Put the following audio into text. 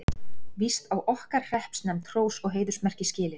Víst á okkar hreppsnefnd hrós og heiðursmerki skilið.